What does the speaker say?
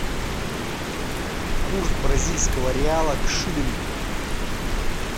курс бразильского реала к шиллингу